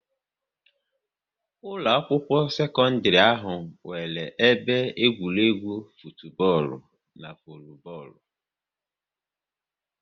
Ụlọ akwụkwọ sekọndrị ahụ nwere ebe egwuregwu futubọọlu n'volubọọlụ